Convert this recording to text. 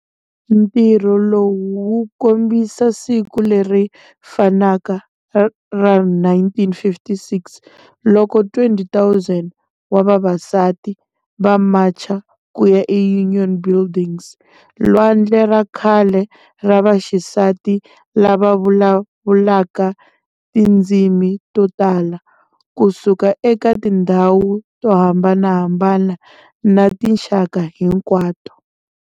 Ntirho lowu wu komba siku leri fanaka ra 1956 loko 20,000 wa vavasati va macha ku ya eUnion Buildings - lwandle ra kahle ra vaxisati lava vulavulaka tindzimi to tala, ku suka eka tindhawu to hambanahambana na tinxaka hinkwato.